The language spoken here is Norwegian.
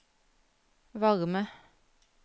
varme